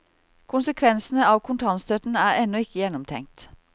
Konsekvensene av kontantstøtten er ennå ikke gjennomtenkt.